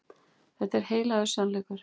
Þetta er heilagur sannleikur.